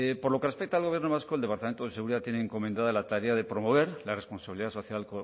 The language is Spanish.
por lo que respecta al gobierno vasco el departamento de seguridad tiene encomendada la tarea de promover la responsabilidad social